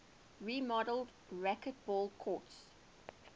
remodeled racquetball courts